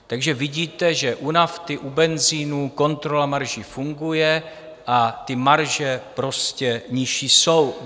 Takže vidíte, že u nafty, u benzinu kontrola marží funguje a ty marže prostě nižší jsou.